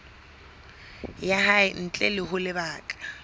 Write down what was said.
ya hae ntle ho lebaka